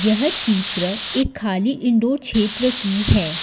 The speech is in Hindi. यह चित्र एक खाली इंडो क्षेत्र की है।